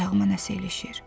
Ayağıma nəsə ilişir.